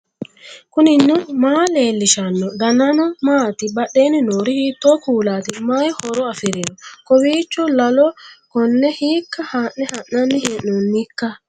knuni maa leellishanno ? danano maati ? badheenni noori hiitto kuulaati ? mayi horo afirino ? kowiicho lalo konne hiikka haa'ne ha'nanni hee'noonnikka